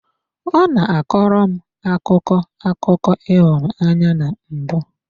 Ọ na-akọrọ m akụkọ akụkọ ịhụnanya na mbụ.